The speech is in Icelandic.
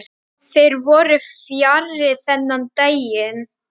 Þeir voru fjarri þennan daginn.